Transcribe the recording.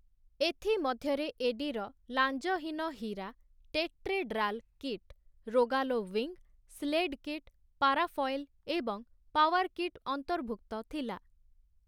ଏଥିମଧ୍ୟରେ ଏଡିର ଲାଞ୍ଜହୀନ ହୀରା, tetrahedral kite, Rogallo wing, sled kite, parafoil ଏବଂ ପାୱାର୍ କିଟ୍ ଅନ୍ତର୍ଭୁକ୍ତ ଥିଲା ।